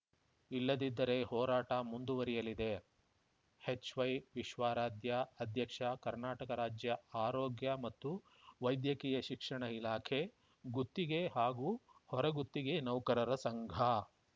ಇಲ್ಲದಿದ್ದರೆ ಹೋರಾಟ ಮುಂದುವರೆಯಲಿದೆ ಎಚ್‌ವೈವಿಶ್ವಾರಾಧ್ಯ ಅಧ್ಯಕ್ಷ ಕರ್ನಾಟಕ ರಾಜ್ಯ ಆರೋಗ್ಯ ಮತ್ತು ವೈದ್ಯಕೀಯ ಶಿಕ್ಷಣ ಇಲಾಖೆ ಗುತ್ತಿಗೆ ಹಾಗೂ ಹೊರಗುತ್ತಿಗೆ ನೌಕರರ ಸಂಘ